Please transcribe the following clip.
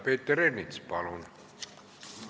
Peeter Ernits, palun!